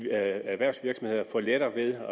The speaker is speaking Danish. erhvervsvirksomhederne får lettere ved